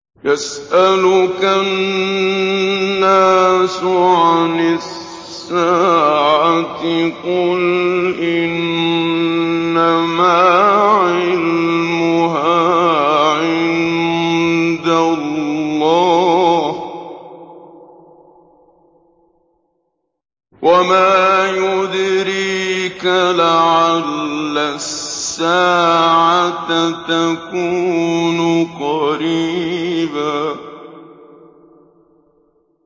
يَسْأَلُكَ النَّاسُ عَنِ السَّاعَةِ ۖ قُلْ إِنَّمَا عِلْمُهَا عِندَ اللَّهِ ۚ وَمَا يُدْرِيكَ لَعَلَّ السَّاعَةَ تَكُونُ قَرِيبًا